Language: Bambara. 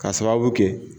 K'a sababu kɛ